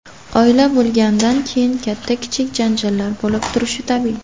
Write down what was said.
Oila bo‘lgandan keyin katta-kichik janjallar bo‘lib turishi tabiiy.